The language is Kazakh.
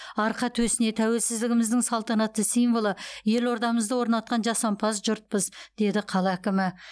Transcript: арқа төсіне тәуелсіздігіміздің салтанатты символы елордамызды орнатқан жасампаз жұртпыз деді қала әкімі